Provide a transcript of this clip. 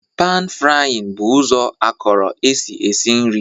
panfrying bụ ụzọ akọrọ esi esi nri